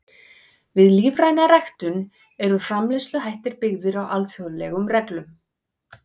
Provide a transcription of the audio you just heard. Við lífræna ræktun eru framleiðsluhættir byggðir á alþjóðlegum reglum.